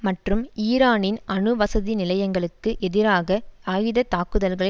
மற்றும் ஈரானின் அணு வசதி நிலையங்களுக்கு எதிராக ஆகாயத் தாக்குதல்களை